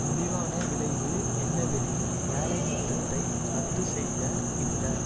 முடிவான விளைவு என்னவெனில் வேலை நிறுத்தத்தை இரத்து செய்த இந்த